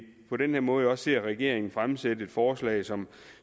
på den her måde også ser regeringen fremsætte et forslag som